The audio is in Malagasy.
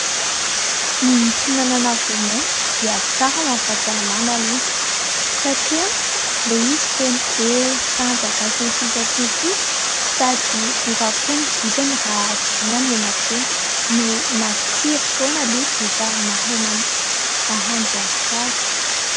Ny fihinanana voamaina dia tsara ho amin'ny fahasalamana aloha satria ilay izy feno hery, tanjaka sy ny sisa sy ny sisa sady mora koa ny vidiny raha jerena ny eny an-tsena, no matsiro foana ilay izy rehefa mahay mahandro azy tsara.